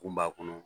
Kun b'a kɔnɔ